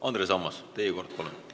Andres Ammas, teie kord, palun!